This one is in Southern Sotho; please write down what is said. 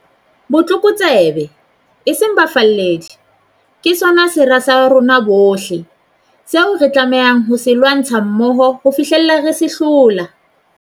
Botlokotsebe, eseng bafalledi, ke sona sera sa rona bohle, seo re tlamehang ho se lwantsha mmoho ho fihlela re se hlola.